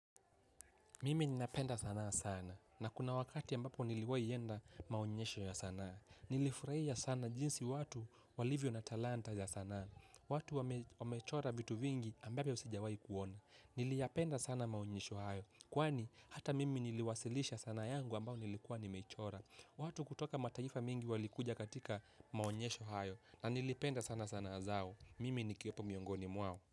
Mimi ninapenda sanaa sana na kuna wakati ambapo niliwahi enda maonyesho ya sanaa. Nilifurahia sana jinsi watu walivyo na talanta ya sanaa. Watu wamechora vitu vingi ambavyo sijawahi kuona. Niliyapenda sana maonyesho hayo. Kwani ata mimi niliwasilisha sanaa yangu ambayo nilikuwa nimechora. Watu kutoka mataifa mingi walikuja katika maonyesho hayo. Na nilipenda sana sanaa zao. Mimi ni kiwepo miongoni mwao.